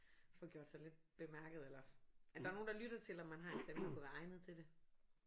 Få gjort sig lidt bemærket eller at der er nogen der lytter til om man har en stemme der kunne være egnet til det